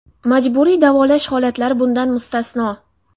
Majburiy davolash holatlari bundan mustasno.